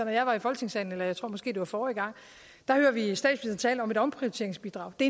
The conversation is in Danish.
og jeg var i folketingssalen eller jeg tror måske det var forrige gang og tale om et omprioriteringsbidrag det